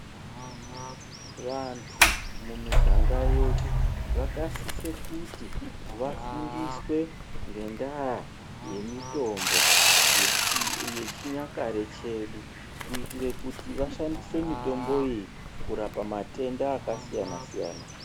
Vantu mumiganga yedu, vakasise kuti vafundiswe ngendaa yemitombo yechinyakare chedu, kuyitire kuti vashandise mitombo iyi kurapa matenda akasiyana-siyana.